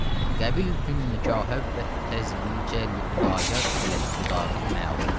Qəbiltün nigahə və təzvicə li Xudayar ələs sudaqil məlumi.